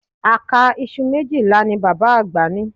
Àká iṣu méjìlá ni bàbá àgbà ní